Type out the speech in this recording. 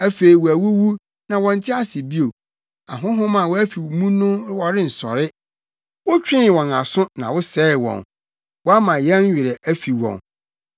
Afei wɔawuwu, na wɔnte ase bio; ahonhom a wɔafi mu no wɔrensɔre. Wotwee wɔn aso na wosɛee wɔn wɔama yɛn werɛ afi wɔn.